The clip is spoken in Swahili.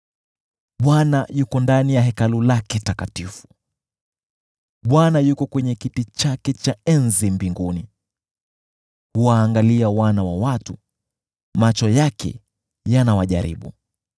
Bwana yuko ndani ya Hekalu lake takatifu; Bwana yuko kwenye kiti chake cha enzi mbinguni. Huwaangalia wana wa watu, macho yake yanawajaribu.